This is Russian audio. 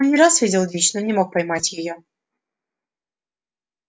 он не раз видел дичь но не мог поймать её